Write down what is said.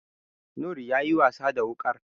Noor ya yi wasa da wuƙar.